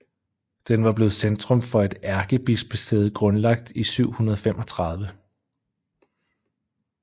Den var blevet centrum for et ærkebispesæde grundlagt i 735